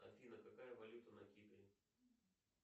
афина какая валюта на кипре